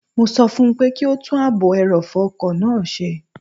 Mo sọ fún pé kí ó tún ààbò ẹrọ̀fọ̀ ọkọ̀ náà ṣe